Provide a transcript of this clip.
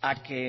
a que